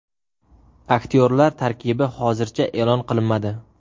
Aktyorlar tarkibi hozircha e’lon qilinmadi.